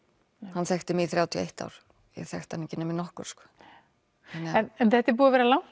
hann þekkti mig í þrjátíu og eitt ár en ég þekkti hann ekki nema í nokkur sko en þetta er búið að vera langt